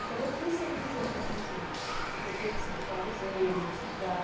Então, eu fui ser monitora lá no museu, porque eu tinha que explicar o museu, estudar.